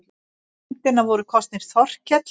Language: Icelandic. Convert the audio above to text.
Í nefndina voru kosnir Þorkell